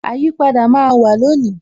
Àyípadà máa wà lónìí